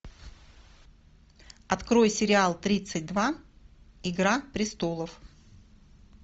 открой сериал тридцать два игра престолов